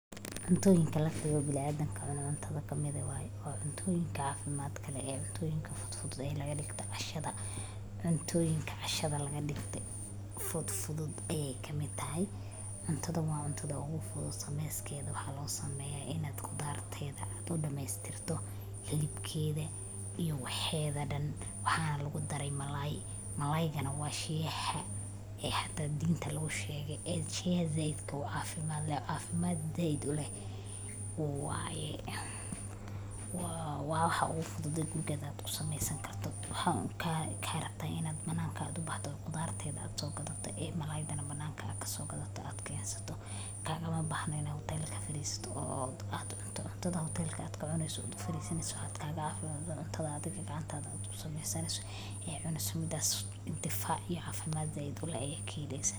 Cuntooyinka la xigo bilaa aadan ka cunaan cuntada ka midahay waaye. wa cuntooyinka ka caafimaad kale ee cuntooyinka fudufudu ayee laga dhigta cashada. cuntooyinka cashada la ga dhigtay fud-fudud ee ka mida ahay. cuntada waa cuntada ugu fudud sameyskeeda waxaa loo sameeyaa inaad qudaarteeda adoo dhamaystirto hilibkeeda iyo waxeeda dhan. Waxaan lagu daray malaayi. Malaaygana waa shiikha ah ee xataa dinta lagu sheegay ad shiia zeidka uu caafimaad leh. Caafimaad zeid uleh. Waa yee, waa waa waxa ugu fududa guriga ad u sameysan karto. Waxaa karabtad inaad banaanka aad u baahdo qudaar teed ad soo gadato, malaydana banaanka ad soo gadato, ad kay haysato, kaagama bahno inay hotel ka firiisto oo aad ucunta cuntada hotel ka aad ka cunayso firiisinayso. Aad kaaga caafimaad doonto adigga gacantaada aad u sameysanayso. Iyo cuna samida difaac iyo caafimaad zeid uleh iyo keenaysa